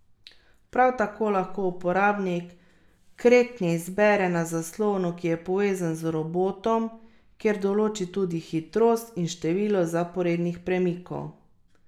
Prav tako lahko uporabnik kretnje izbere na zaslonu, ki je povezan z robotom, kjer določi tudi hitrost in število zaporednih premikov.